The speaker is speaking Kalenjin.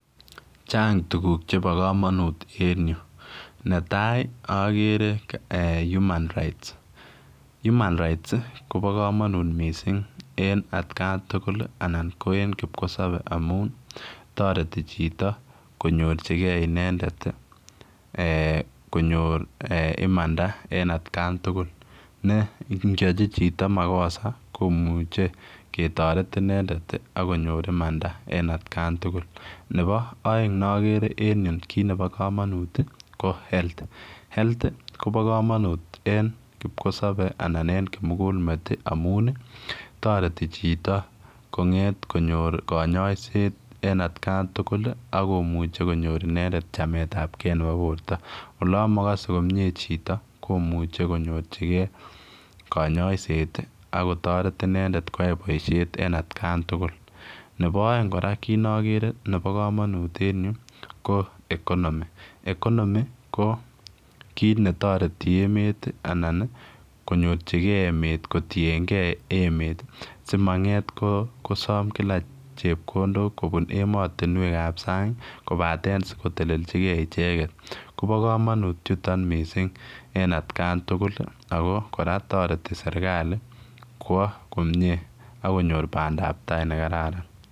Chang tugug chebo komonut eng Yu netai agree human rights, human rights Kobo komonut mising en atkan tugul ana en kipkosop amun toreti chito konyorchingei imanda atkkan tugul ne ngeyochi chito makosa komuchei ketoret inendet akonyor imanda en atkan tugul, nebo aeng nagere en yu kit nebo komonut ko health, health Kobo komonut eng kipkosopei anan en kimugul met amun toreti chito konget konyor konyoiset en atkan tugul akomuche konyor inendet chamet ap kee nebo Porto, olemakase komie chito komuchei konyorchingei kanyaiset akotoreti inendet koyai poishet in otkantugul .Nebo oeng kora kiit nagere nebo komonut eng Yu ko economy ko economy ko kiit netareti emet anan konyorchingei emet kotiengei emet simanget kosom kila chepkondok en ematunwek ap sang kopate sikotelelchike icheget Kobo komonut chutok mising en atkan tugul agora toreti serikali kowa komie akonyor pandaptai negararan.